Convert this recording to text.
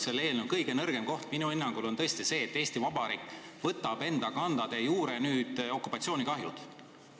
Selle eelnõu kõige nõrgem koht ka minu hinnangul on tõesti see, et Eesti Vabariik võtab enda kanda de jure okupatsioonikahjud.